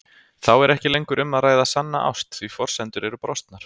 Þá er ekki lengur um að ræða sanna ást því forsendurnar eru brostnar.